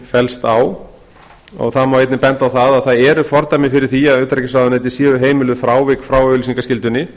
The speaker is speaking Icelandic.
fellst á það má einnig benda á að það eru fordæmi fyrir því að utanríkisráðuneyti séu heimiluð frávik frá auglýsingaskyldunni